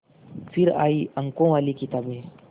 फिर आई अंकों वाली किताबें